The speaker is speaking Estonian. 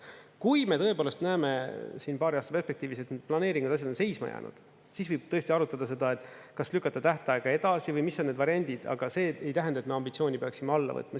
Kui me tõepoolest näeme siin paari aasta perspektiivis, et need planeeringud ja asjad on seisma jäänud, siis võib tõesti arutada seda, kas lükata tähtaega edasi või mis on need variandid, aga see ei tähenda, et me ambitsiooni peaksime alla võtma.